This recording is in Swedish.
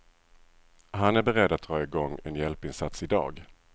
Han är beredd att dra i gång en hjälpinsats i dag.